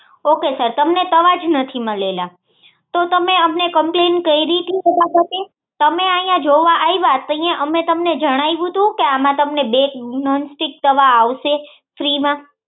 Ok sir તમને તવા જ નથી મળેલા તો તે અમને કમ્પલન્ટ કરી તી ફટાફટ તમે અહી જોવા આયવા ત્યારે અમે તમને જણાવ્યું તું કે આમાં તમને બે નોનસ્ટિક તવા આવશે ફ્રી માં